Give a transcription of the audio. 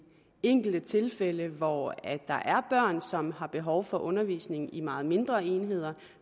enkelte tilfælde hvor der er børn som har behov for undervisning i meget mindre enheder